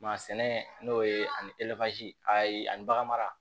sɛnɛ n'o ye ani a ye ani baganmara